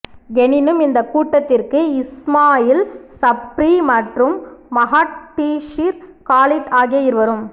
எனினும் இந்த கூட்டத்திற்கு இஸ்மாயில் சப்ரி மற்றும் மஹாட்ஷீர் காலிட் ஆகிய இருவர்